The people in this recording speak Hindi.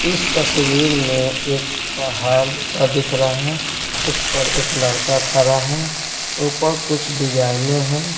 इस तस्वीर में एक पहाड़ जैसा दिख रहा है उस पर एक लड़का खड़ा है ऊपर कुछ डिजाइनें हैं।